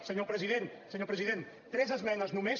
senyor president senyor president tres esmenes només